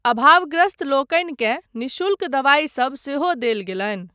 अभावग्रस्तलोकनिकेँ निःशुल्क दवाइ सब सेहो देल गेलनि।